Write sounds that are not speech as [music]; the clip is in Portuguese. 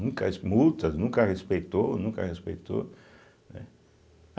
[unintelligible] as multas, nunca respeitou, nunca respeitou, né.